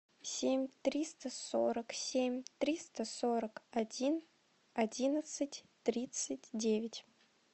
семь триста сорок семь триста сорок один одиннадцать тридцать девять